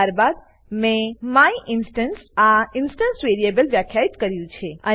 ત્યારબાદ મેં માયિન્સ્ટન્સ આ ઇન્સટન્સ વેરીએબલ વ્યાખ્યિત કર્યું છે